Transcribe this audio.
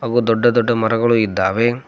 ಹಾಗೂ ದೊಡ್ಡ ದೊಡ್ಡ ಮರಗಳು ಇದ್ದಾವೆ.